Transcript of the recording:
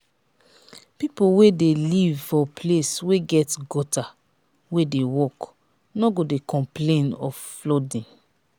pipo wey dey live for place wey get gutter wey dey work no go de complain of flooding